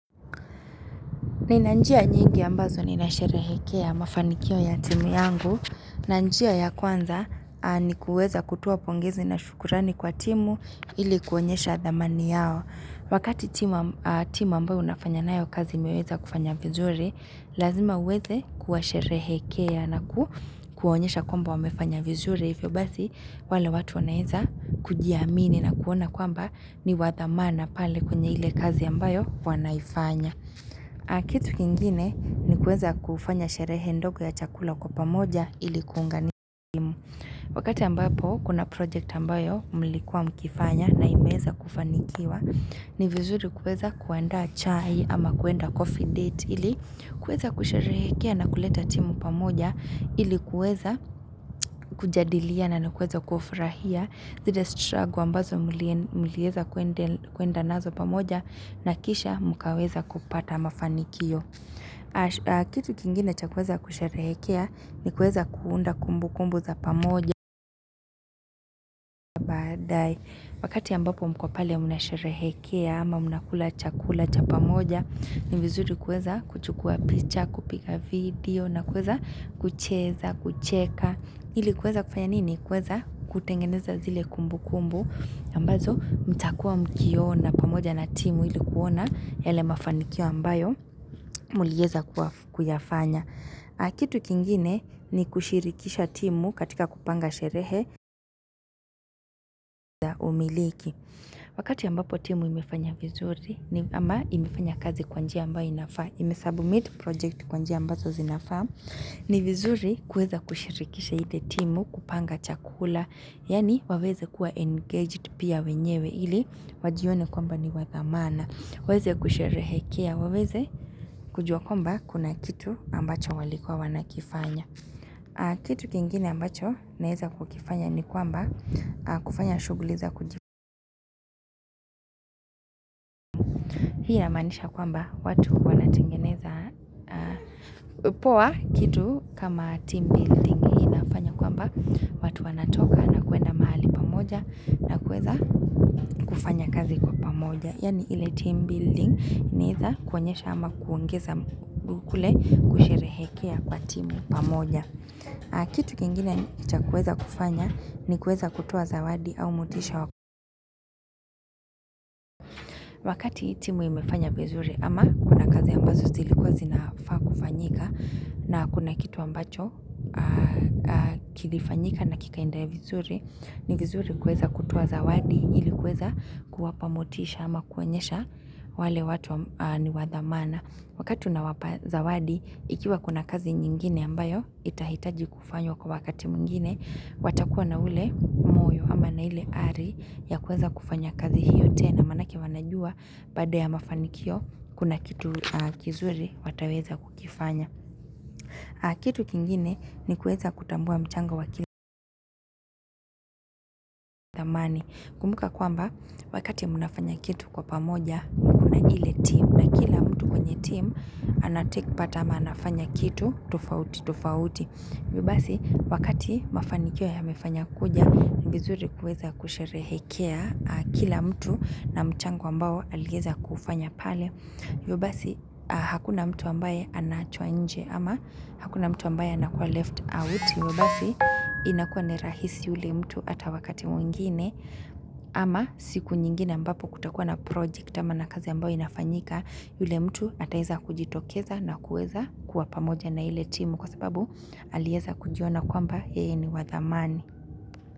Ninanjia nyingi ambazo ninasherehekea mafanikio ya timu yangu. Nanjia ya kwanza ni kuweza kutoa pongezi na shukurani kwa timu ili kuonyesha dhamani yao. Wakati timu am a timu ambayo unafanya nayo kazi imeweza kufanya vizuri, lazima uweze kuwasherehekea na ku kuonyesha kwamba wamefanya vizuri. Ifyo basi, wale watu wanaeza kujiamini na kuona kwamba ni wathamana pale kwenye ile kazi ambayo wanaifanya. Kitu kingine ni kueza kufanya sherehe ndogo ya chakula kwa pamoja ilikuunga ni timu Wakati ambapo kuna project ambayo mlikuwa mkifanya na imeeza kufanikiwa ni vizuri kueza kuandaa chai ama kuenda coffee date ili kueza kusherehekea na kuleta timu pamoja ilikuweza kujadiliana na kuweza kufrahia zire stragu ambazo mulie mulieza kuende kuenda nazo pamoja na kisha mukaweza kupata mafanikio kitu kingine chakweza kusherehekea ni kueza kuunda kumbu kumbu za pamoja wakati ambapo mko pale muna sherehekea ama muna kula chakula cha pamoja ni vizuri kueza kuchukua picha, kupika video na kueza kucheza, kucheka Hili kweza kufanya nini? Kweza kutengeneza zile kumbu kumbu, ambazo mtakua mkiona pamoja na timu ili kuona yale mafanikio ambayo mulieza kuaf kuyafanya. Kitu kingine ni kushirikisha timu katika kupanga sherehe, wakati ambapo timu imefanya vizuri ni, ama imefanya kazi kwanjia ambayo inafaa, imesabmit project kwanjia ambazo zinafaa. Ni vizuri kuweza kushirikisha ile timu kupanga chakula Yani waweze kuwa engaged pia wenyewe ili Wajione kwamba ni wathamana waeze kusherehekea waweze kujua kwamba kuna kitu ambacho walikua wanakifanya Kitu kingine ambacho naeza kukifanya ni kwamba kufanya shuguliza kuji Hii inamaanisha kwamba watu wanatengeneza Upowa kitu kama team building hii inafanya kwamba watu wanatoka na kuenda mahali pamoja na kuweza kufanya kazi kwa pamoja. Yani ile team building ni iza kuonyesha ama kuongeza kule kusherehekea kwa timu pamoja. Kitu kingine cha kuweza kufanya ni kuweza kutoa zawadi au motisha wakati timu imefanya vizuri ama kuna kazi ambazo zilikuwa zinafaa kufanyika. Na kuna kitu ambacho kilifanyika na kikaenda ya vizuri ni vizuri kweza kutoa zawadi ili kweza kuwapa motisha ama kuonyesha wale watu ni wadhamana Wakati una wapaza wadi ikiwa kuna kazi nyingine ambayo itahitaji kufanywa kwa wakati mwingine watakuwa na ule moyo ama na ile ari ya kweza kufanya kazi hiyo tena Manake wanajua baada ya mafanikio kuna kitu kizuri wataweza kukifanya Kitu kingine ni kueza kutambua mchango wa kila mani. Kumuka kwamba, wakati munafanya kitu kwa pamoja, kuna ile team na kila mtu kwenye team anatekpat ama anafanya kitu, tofauti, tofauti. Yobasi wakati mafanikio ya mefanya kuja ni vizuri kueza kusherehekea kila mtu na mchango ambao alieza kufanya pale. Yobasi hakuna mtu ambaye anaachwa nje ama hakuna mtu ambaye anakuwa left out. Yobasi inakuwa ni rahisi ule mtu ata wakati mwingine ama siku nyingine ambapo kutakuwa na project ama na kazi ambao inafanyika yule mtu ataeza kujitokeza na kueza kuwa pamoja na ile timu kwa sababu alieza kujiona kwamba yeye ni wathamani.